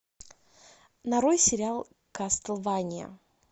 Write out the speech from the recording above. нарой сериал кастлвания